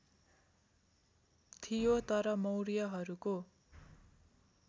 थियो तर मौर्यहरूको